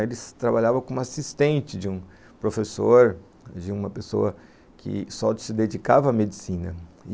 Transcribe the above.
Ele trabalhava como assistente de um professor, de uma pessoa que só se dedicava à medicina.